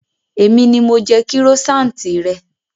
Èmi ni mo jẹ kírósaanti rẹ